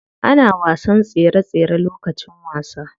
Ana wasan tsere tsere lokacin wasa.